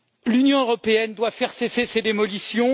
L'Union européenne doit faire cesser ces démolitions.